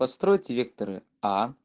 постройте векторы а